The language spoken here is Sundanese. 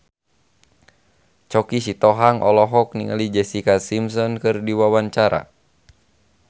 Choky Sitohang olohok ningali Jessica Simpson keur diwawancara